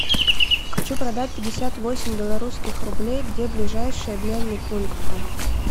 хочу продать пятьдесят восемь белорусских рублей где ближайший обменный пункт